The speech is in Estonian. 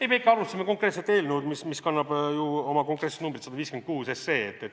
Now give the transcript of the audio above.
Ei, me ikka arutasime konkreetset eelnõu, mis kannab ju oma konkreetset numbrit 156.